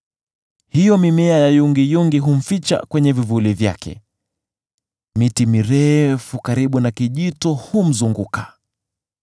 Hiyo mimea ya yungiyungi humficha kwenye vivuli vyake; miti mirefu karibu na kijito humzunguka.